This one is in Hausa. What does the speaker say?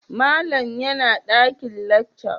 Malam yana dakin lecture?